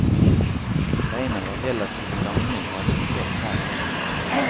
Beina var relative lange og hadde tre tær.